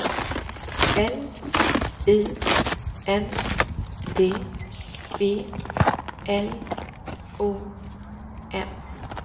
L I N D B L O M